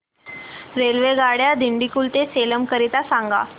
रेल्वेगाड्या दिंडीगुल ते सेलम करीता सांगा